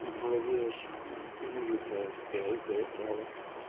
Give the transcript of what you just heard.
в голове аж музыка адская заиграла